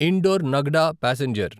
indoor Nagda passenger